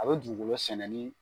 A bɛ dugukolo sɛnɛ nin.